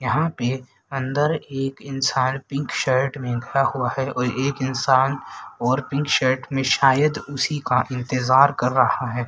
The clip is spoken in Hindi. यहां पे अंदर एक इंसान पिंक शर्ट में खड़ा हुआ है और एक इंसान और पिंक शर्ट में शायद उसी का इंतजार कर रहा है।